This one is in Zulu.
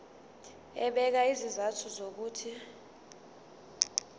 ebeka izizathu zokuthi